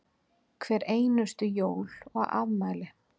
Hver einustu jól og afmæli.